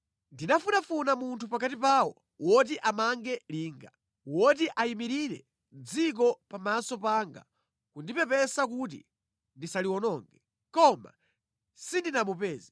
“Ndinafunafuna munthu pakati pawo woti amange linga, woti ayimirire dziko pamaso panga kundipepesa kuti ndisaliwononge, koma sindinamupeze.